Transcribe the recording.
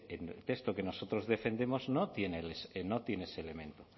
ese texto que nosotros defendemos no tiene ese elemento